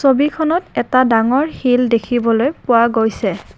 ছবিখনত এটা ডাঙৰ শিল দেখিবলৈ পোৱা গৈছে।